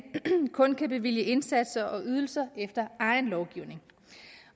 kun kan bevilge indsatser og ydelser efter egen lovgivning